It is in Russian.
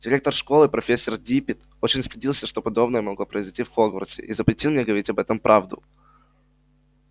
директор школы профессор диппет очень стыдился что подобное могло произойти в хогвартсе и запретил мне говорить об этом правду